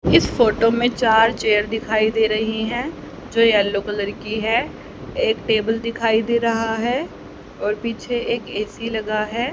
इस फोटो में चार चेयर दिखाई दे रही हैं जो येलो कलर की है एक टेबल दिखाई दे रहा है और पीछे एक ए_सी लगा है।